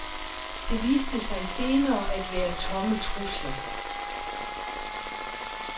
Det viste sig senere at være tomme trusler.